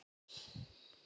Nei hættu nú!